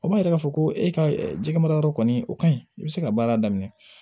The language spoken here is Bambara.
O b'a yira k'a fɔ ko e ka jɛgɛ mara yɔrɔ kɔni o kaɲi i bɛ se ka baara daminɛ